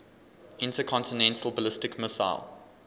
intercontinental ballistic missile